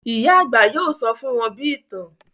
Ìyá àgbà yóò sọ fún wọn bí ìtàn